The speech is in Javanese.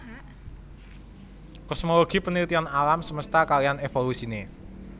Kosmologi penelitian alam semesta kaliyan evolusine